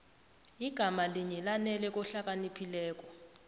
igama linye lanele kohlakaniphileko